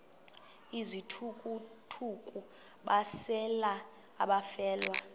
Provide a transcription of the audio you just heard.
izithukuthuku besalela abafelwa